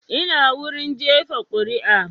Ina wurin jefa kuri'a